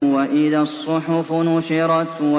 وَإِذَا الصُّحُفُ نُشِرَتْ